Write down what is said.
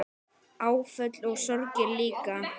Áföll og sorgir líka.